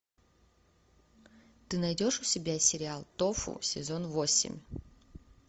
ты найдешь у себя сериал тофу сезон восемь